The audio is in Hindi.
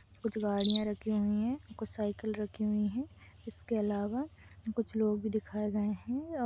कुछ गाड़ियां रखी हुई है कुछ साइकिल रखी हुई है इसके अलावा कुछ लोग भी दिखाए गए हैं औ--